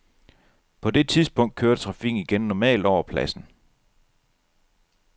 På det tidspunkt kørte trafikken igen normalt over pladsen.